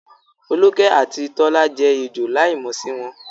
Foluke àti Tola jẹ́ ejò láìmọ̀ sí wọn.